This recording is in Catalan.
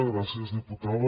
gràcies diputada